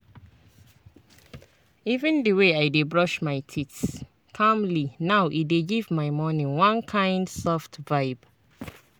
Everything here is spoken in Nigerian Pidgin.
even the way i dey brush my teeth calmly now e dey give my morning one kind soft vibe.